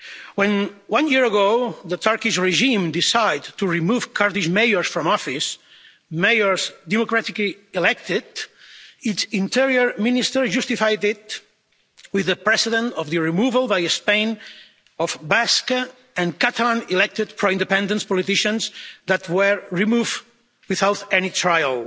When one year ago the Turkish regime decided to remove Kurdish mayors from office mayors democratically elected its Interior Minister justified this with the precedent of the removal by Spain of Basque and Catalan elected pro-independence politicians who were removed without any trial.